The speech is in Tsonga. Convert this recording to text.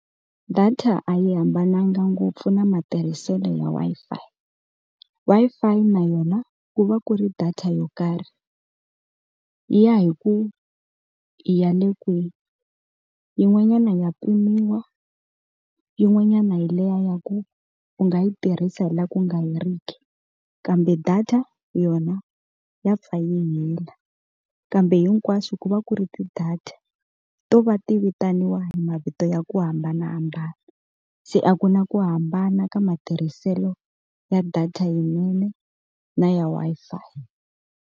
Data a yi hambananga ngopfu na matirhiselo ya Wi-Fi. Wi-Fi i na yona ku va ku ri data yo karhi, yi ya hi ku i ya le kwihi. Yin'wanyana ya pimiwa, yin'wanyana hi liya ya ku u nga yi tirhisa hi laha ku nga heriki, kambe data yona ya pfa yi hela. Kambe hinkwaswo ku va ku ri ti-data, to va ti vitaniwa hi mavito ya ku hambanahambana. Se a ku na ku hambana ka matirhiselo ya data yinene na ya Wi-Fi.